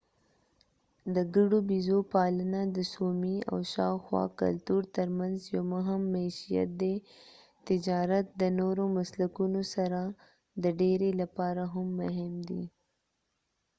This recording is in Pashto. د ګډو بېزو پالنه د سومي او شاوخوا کلتور ترمنځ یو مهم معیشت دی تجارت د نورو مسلکونو سره د ډیری لپاره هم مهم دی